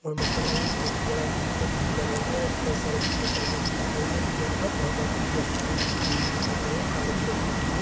यह मुखंड मे बहुत ही बड़ा लोहे का गेट लगा हुआ है उस पर सर्विस लिखा हुआ दिखाई दे रहा है दीवार पर वहाँ पर कुछ व्यक्ति लोग भी खड़े हुए दिखाई दे रहे है कार भी रखी हुई है।